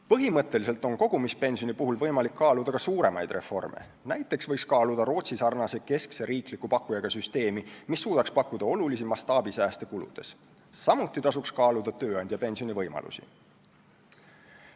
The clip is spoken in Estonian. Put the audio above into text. Põhimõtteliselt on kogumispensioni puhul võimalik kaaluda ka suuremaid reforme, näiteks võiks mõelda Rootsi-sarnase keskse riikliku pakkujaga süsteemi peale, mis suudaks pakkuda suuri mastaabisääste kuludes, samuti tasuks kaaluda tööandjapensioni võimalusi.